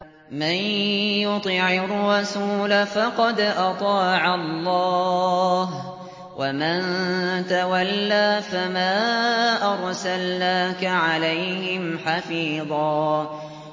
مَّن يُطِعِ الرَّسُولَ فَقَدْ أَطَاعَ اللَّهَ ۖ وَمَن تَوَلَّىٰ فَمَا أَرْسَلْنَاكَ عَلَيْهِمْ حَفِيظًا